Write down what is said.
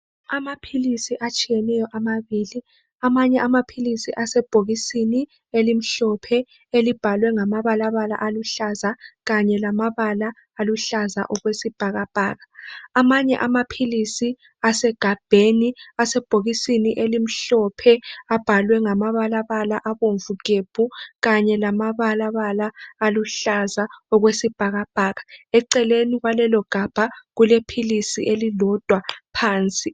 Amaphilisi ababili atshiyeneyo, amanye amaphilisi asebhokisini elimhlophe elibhalwe ngamabalabala aluhlaza kanye lambala aluhlaza okwesibhakabhaka. Amanye amaphilisi asegabheni asebhokisini elimhlophe abhalwe ngamala abomvu gebhu kanye lamabala aluhlaza okwesibhakabhaka. Eceleni kwalelo gabha kulephilisi elilodwa phansi.